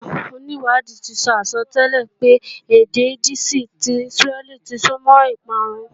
Àwọn onìwádìí ṣe àsọtẹ́lẹ̀ pé èdè Yídíìṣì ti Ísírẹ́lì ti súnmọ́ ìparun